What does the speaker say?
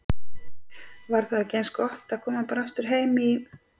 Var þá ekki eins gott að koma bara aftur heim í